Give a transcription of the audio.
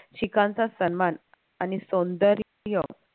शिखांचा सन्मान आणि सौंद र्य